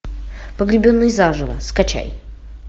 погребенный заживо скачай